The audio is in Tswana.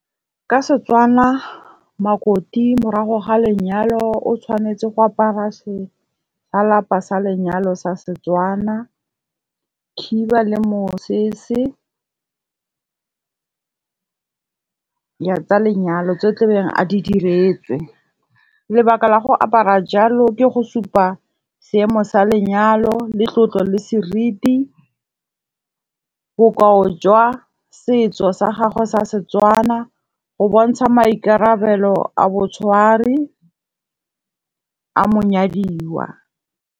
Ka setswana makoti morago ga lenyalo o tshwanetse go apara sa lenyalo sa setswana, khiba le mosese tsa lenyalo tseo tlabeng a di diretswe. Lebaka la go apara jalo ke go supa seemo sa lenyalo, le tlotlo, le seriti. Bokao jwa setso sa gagwe sa setswana, go bontsha maikarabelo a boitshwari a mo nyadiwa.